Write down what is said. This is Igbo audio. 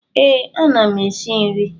Ee, ama m esi nri.